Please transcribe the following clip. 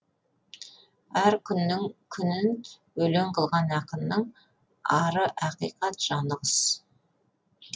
әр күнін өлең қылған ақынның ары ақиқат жаны құс